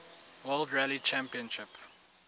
world rally championship